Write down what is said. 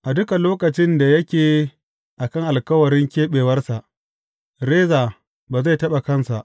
A dukan lokacin da yake a kan alkawarin keɓewarsa, reza ba zai taɓa kansa.